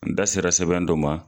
N da sera sɛbɛn dɔ ma